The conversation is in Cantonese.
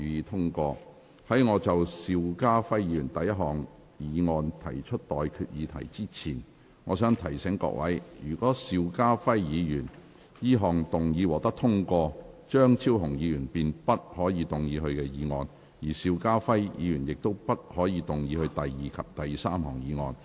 在我就邵家輝議員的第一項議案提出待決議題之前，我想提醒各位，若邵家輝議員此項議案獲得通過，張超雄議員便不可動議他的議案，而邵家輝議員亦不可動議他的第二及第三項議案。